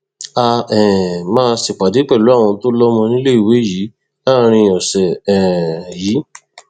a um máa ṣèpàdé pẹlú àwọn tó lọmọ níléèwé yìí láàrin ọsẹ um yìí